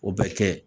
O bɛ kɛ